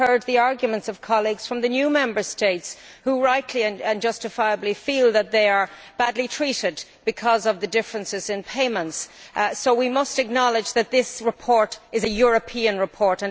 We have heard the arguments of colleagues from the new Member States, who rightly and justifiably feel that they are badly treated because of the differences in payments, so we must acknowledge that this report is a European report.